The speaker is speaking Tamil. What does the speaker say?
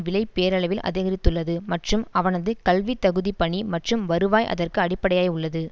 விலை பேரளவில் அதிகரித்துள்ளது மற்றும் அவனது கல்வித்தகுதி பணி மற்றும் வருவாய் அதற்கு அடிப்படையாய் உள்ளது